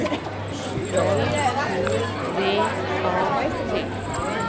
L O V A T